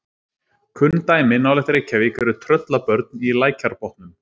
kunn dæmi nálægt reykjavík eru tröllabörn í lækjarbotnum